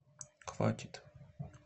хватит